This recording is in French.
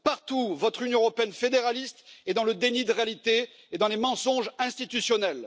Partout, votre Union européenne fédéraliste est dans le déni de réalité et dans les mensonges institutionnels.